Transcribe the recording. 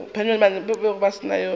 be go se yo a